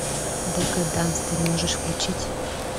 декаданс ты можешь включить